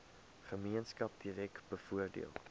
gemeenskap direk bevoordeel